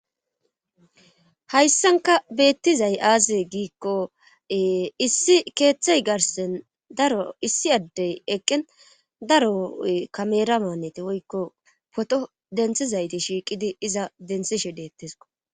hayssanka beettizay aazee giikko issi keeththey garsen daro issi addey eqqin daro kamera maanneti woykko poto denthizayti shiiqidi iza denthishe deettesko